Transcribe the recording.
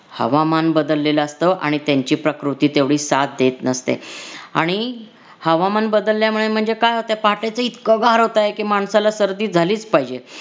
हवामान बदलेल असत आणि त्यांची प्रकृती तेवढी साथ देत नसते आणि हवामान बदलल्यामुळे म्हणजे काय होत पहाटेच इतकं गार होतंय की माणसाला सर्दी झालीच पाहिजे.